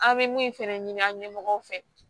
An bɛ mun fɛnɛ ɲini an ɲɛmɔgɔw fɛ